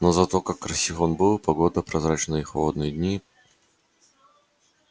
но зато как красив он был когда снова наступала ясная погода прозрачные и холодные дни